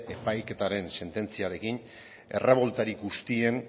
epaiketaren sententziarekin erreboltari guztien